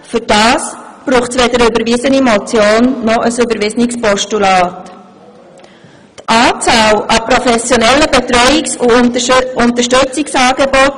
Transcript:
Dafür braucht es weder eine überwiesene Motion noch ein überwiesenes Postulat.